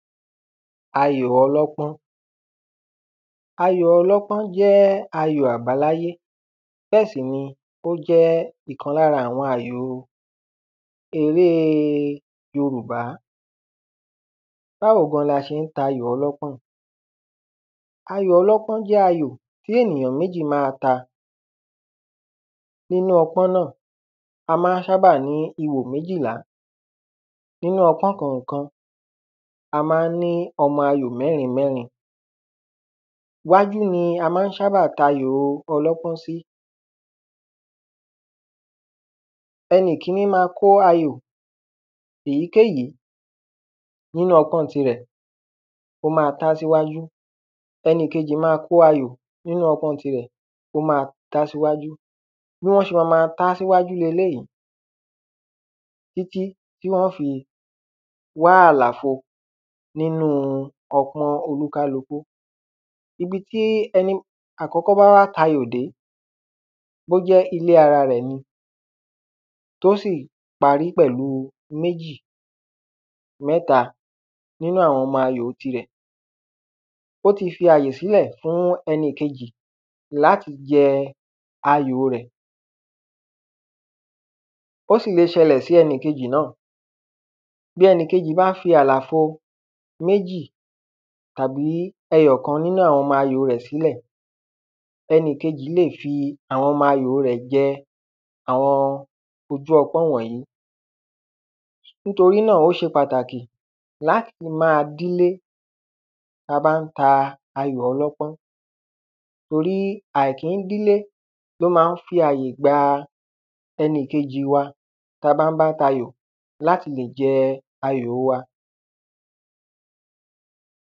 ayò ọlọ́pọ́n. ayò ọlọ́pọ́n jẹ́ ayò abáláyé, bẹ́ẹ̀ sì ni, ó jẹ́ ìkan lára àwọn àyòo erée Yorùbá. báwo gan la ṣe ń tayò ọlọ́pọ̀n? ayò ọlọ́pọ́n jẹ́ ayò tí ènìyàn méjì máa ta, nínú ọpọ́n náà, a máa sábà ní ihò méjìlá, nínú ọpọ́n kọ̀ọ̀kan, a maá ní ọmọ ayò mẹ́rin mẹ́rin, iwájú ni a maá sábà tayò ọlọ́pọ́n sí. ẹnìkíní ma kó ayò èyíkéyìí nínú ọpọ́n-ọn tirẹ̀, ó ma tá síwájú, ẹnìkejì ma kó ayò nínú ọpọ́n-ọn tirẹ̀, ó ma tá síwájú, bí wọ́n ṣe ma ma ta á síwájú leléyìí títí tí wọ́n fi wá àlàfo nínúu ọpọ́n oníkálukú. ibi tí ẹni àkọ́kọ́ bá wá tayò dé, bó jẹ́ ilé ara rẹ̀ ni, tó sì parí pẹ̀lúu méjì, mẹ́ta nínú àwọn ọmọ ayòo tirẹ̀, ó ti fi àyè sílẹ̀ fún ẹnìkejì láti jẹ ayòo rẹ̀. ó sì le ṣẹlẹ̀ sí ẹnìkejì náà, bí ẹnìkejì bá fi àlàfo méjì tàbí ẹyọ̀kan nínú àwọn ọmọ ayòo rẹ̀ sílẹ̀, ẹnìkejì lè fi àwọn ọmọ ayòo rẹ̀ jẹ àwọn ojú ọpọ́n wọ̀nyí. nítorí náà, ó ṣe pàtàkì láti máa dílé ta bá ń ta ayò ọlọ́pọ́n, torí àìkíndílé ló ma ń fi àyè gba ẹnìkejìi wa ta bá ń bá tayò láti lè jẹ ayòo wa.